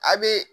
A bee